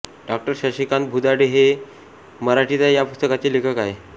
डाॅ शशिकांत भुजाडे हे म मराठीचा या पुस्तकाचे लेखक आहेत